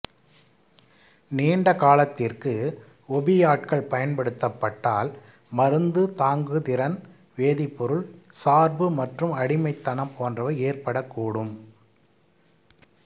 நீண்டகாலத்திற்கு ஒபியாட்கள் பயன்படுத்டப்பட்டால் மருந்து தாங்கு திறன் வேதிப்பொருள் சார்பு மற்றும் அடிமைத்தனம் போன்றவை ஏற்படக்கூடும்